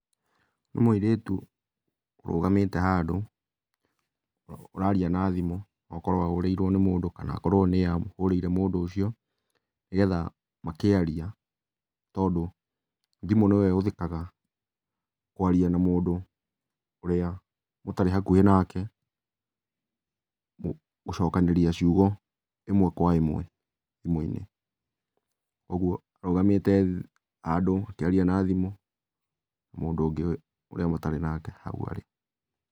Nĩ mũirĩtu, ũrũgamĩte handũ, ũraria na thimũ, okorwo ahũrĩirwo nĩ mũndũ kana akorwo nĩye ahũrĩire mũndũ ũcio, nĩ getha makĩaria tondũ thimũ nĩyo ĩhũthĩkaga kwaria na mũndũ ũrĩa ũtarĩ hakuhĩ nake, gũcokanĩria ciugo ĩmwe kwa ĩmwe thimũ-inĩ. Ũguo arũgamĩte handũ akĩaria na thimũ mũndũ ũngĩ ũrĩa matarĩ nake hau arĩ.